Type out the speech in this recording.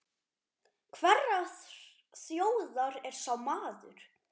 Hverrar þjóðar er sá maður?